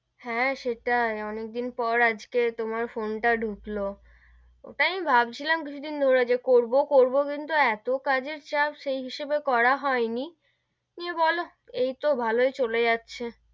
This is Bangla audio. হেঁ, সেটাই অনেক দিন পর আজকে তোমার ফোন টা ডুকলো, ওটাই আমি ভাবছিলাম কিছু দিন ধরে যে করবো করবো কিন্তু এতো কাজের চাপ সেইহিসেবে করা হয় নি, দিয়ে বোলো এই তো ভালোই চলে যাচ্ছে,